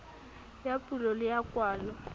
ya pulo le ya kwalo